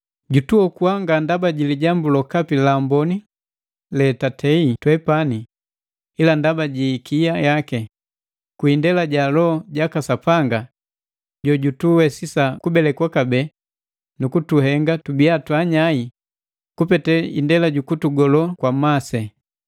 jutuokua nga ndaba ji lijambu lokapi la amboni letatei twepani, ila ndaba ji ikia yaki, kwi indela ja Loho jaka Sapanga jojutuwesisa kubelekwa kabee nukutuhenga tubia twaanyai kupete indela jukutugolo kwa masi.